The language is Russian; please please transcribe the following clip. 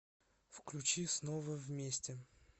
включи снова вместе